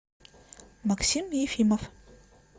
максим ефимов